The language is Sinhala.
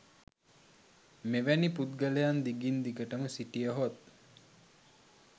මෙවැනි පුද්ගලයන් දිගින් දිගටම සිටියහොත්